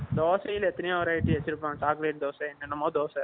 தோசைல எத்தனையோ variety வச்சிருப்பாங்க chocolate dosa என்னமோ தோசை